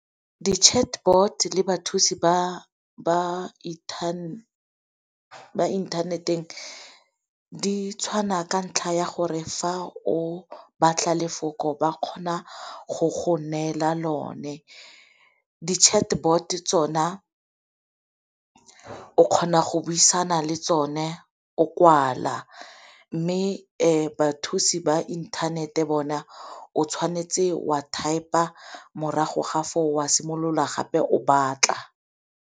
Di-chatbot le bathusi ba inthaneteng di tshwana ka ntlha ya gore fa o batla lefoko ba kgona go go neela lone. Di-chatbot tsona o kgona go buisana le tsone o kwala, mme bathusi ba inthanete bona o tshwanetse o a type-a morago ga foo wa simolola gape o batla.